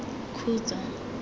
khutso